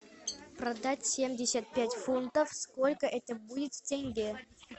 продать семьдесят пять фунтов сколько это будет в тенге